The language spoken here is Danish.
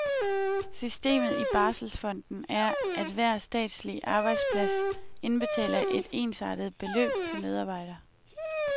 Systemet i barselsfonden er, at hver statslig arbejdsplads indbetaler et ensartet beløb per medarbejder.